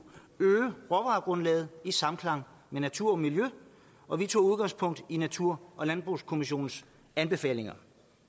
øge råvaregrundlaget i samklang med natur og miljø og vi tog udgangspunkt i natur og landbrugskommissionens anbefalinger